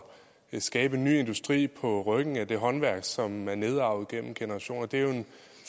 skabe en ny industri på ryggen af det håndværk som er nedarvet gennem generationer det er jo en